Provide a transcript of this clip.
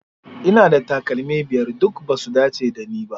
Ina da takalmi biyar, duk ba su dace da ni ba.